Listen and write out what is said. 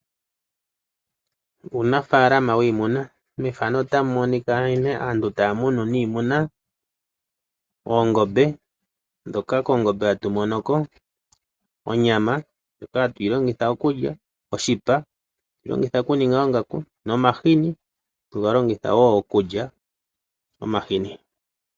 Uunafalama wiimuna. Aantu ohaya munu oongombe hoka haya kuthako oonyama nomahini ngoka haga longithwa okuliwa nenge haga landithwapo opo aantu yamonemo iimaliwa yawo.